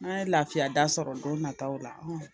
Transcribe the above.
N'an ye lafiya da sɔrɔ don nataw la